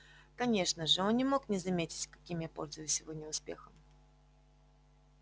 конечно же он не мог не заметить каким я пользуюсь сегодня успехом